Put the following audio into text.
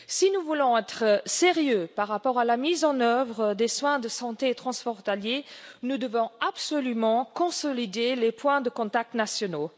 Si nous voulons être sérieux par rapport à la mise en œuvre des soins de santé transfrontaliers, nous devons absolument consolider les points de contacts nationaux.